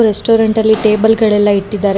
Restaurant ಅಲ್ಲಿ table ಗಳೆಲ್ಲ ಇಟ್ಟಿದ್ದಾರೆ.